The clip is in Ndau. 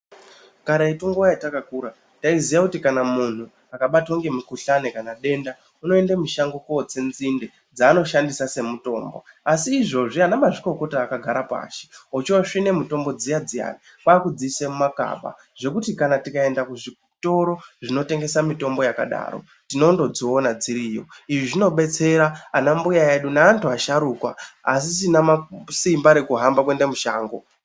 Kare munguva yatakakura taiziva kuti kana muntu akabatwa nemukuhlani kana denda unoende mushango kunotsinzinde dzaanoshandisa semutombo asi izvozvo vakagara pashi vachisvine mitombo dziya dziya kwakudziise mimagaba, zvekuti kana tikaende kuzvitoro zvinotengesa mitombo yakadaro tinonodziona dziriyo izvi zvinobetseya vanambuya vedu nevantu vasharukwa vasisina simba rekuhamba kuenda kushango.